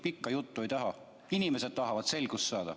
Pikka juttu ei taha, inimesed tahavad selgust saada.